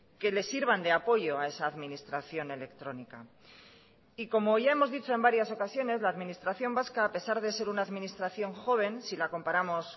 que le sirvan de apoyo a esa administración electrónica y como ya hemos dicho en varias ocasiones la administración vasca a pesar de ser una administración joven si la comparamos